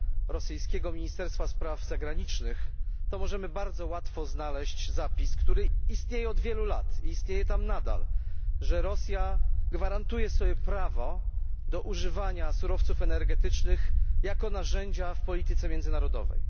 rosyjskiego ministerstwa spraw zagranicznych, to możemy bardzo łatwo znaleźć zapis, który istnieje od wielu lat i istnieje tam nadal, że Rosja gwarantuje sobie prawo do używania surowców energetycznych jako narzędzia w polityce międzynarodowej.